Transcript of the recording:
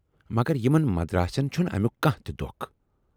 مگر یِمن مدراسن چھُنہٕ امیُک کانہہ تہِ دۅکھ۔